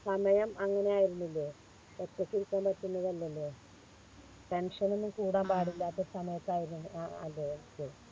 സമയം അങ്ങനെ ആയിരുന്നില്ലേ ഒറ്റക്കിരിക്കാൻ പറ്റുന്നതല്ലല്ലോ Tension ഒന്നും കൂടാൻ പാടില്ലാത്ത സമയത്ത് ആയിരുന്നു അ അത്